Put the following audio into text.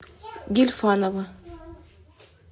гильфанова